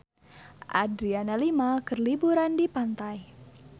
Adriana Lima keur liburan di pantai